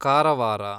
Karwar